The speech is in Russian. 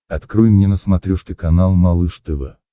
открой мне на смотрешке канал малыш тв